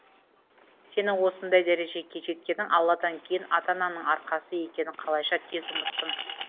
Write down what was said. сенің осындай дәрежеге жеткенің алладан кейін ата анаңның арқасы екенің қалайша тез ұмыттың